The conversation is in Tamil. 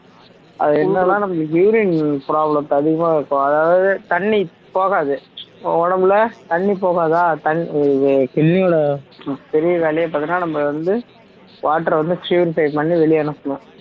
அது என்னன்னா நமக்கு urine problem த அதிகமாக்கும் அதாவது தண்ணீர் போகாது உன் உடம்புல தண்ணி போகாதா பெரிய வேலையே பாத்தீன்னா நம்ம வந்து water அ வந்து purify பண்ணி வெளிய அனுப்பணும்